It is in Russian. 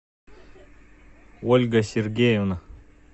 ольга сергеевна